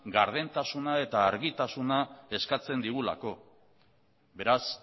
gardentasuna eta argitasuna eskatzen digulako beraz